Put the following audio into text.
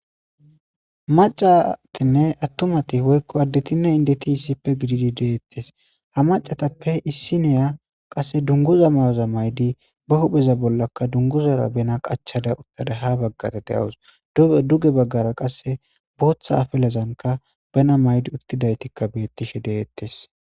Macatinne attumati woykko additinne indeti issippe gididi deettes ha macatappe issiniya qasse dunguza mayoza maydi ba hupheza bollaka dunguzara bena qachada uttada ha baggara de7awus dubhe duge baggara qasse booththa afelezanka bena maydi uttidaytikka beettishe deettes.